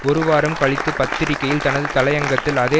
ஒரு வாரம் கழித்து பத்திரிகையில் தனது தலையங்கத்தில் அதே